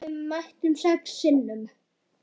Við mættum sex sinnum.